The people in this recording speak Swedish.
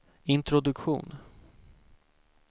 introduktion